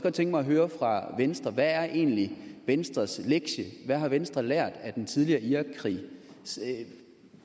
tænke mig at høre fra venstre hvad er egentlig venstres lektie hvad har venstre lært af den tidligere irakkrig